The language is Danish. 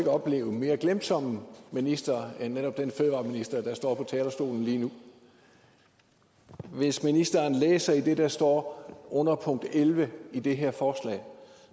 oplevet en mere glemsom minister end den fødevareminister der står på talerstolen hvis ministeren læser i det der står under punkt elleve i det her forslag